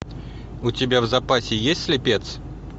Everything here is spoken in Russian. у тебя в запасе есть слепец